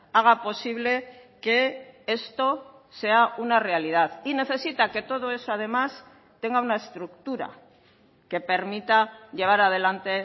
haga posible que esto sea una realidad y necesita que todo eso además tenga una estructura que permita llevar adelante